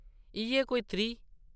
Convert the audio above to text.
‘‘इʼयै कोई त्रीह्!’’